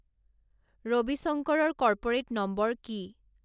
ৰবিশংকৰৰ corporate number কি